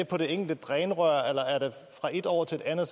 på det enkelte drænrør eller er det fra et år til et andet